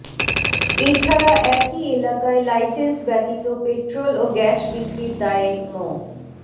এ ছাড়া একই এলাকায় লাইসেন্স ব্যতীত পেট্রল ও গ্যাস বিক্রির দায়ে মো